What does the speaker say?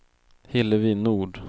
Hillevi Nord